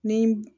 Ni